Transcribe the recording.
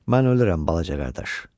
Mən ölürəm balaca qardaş.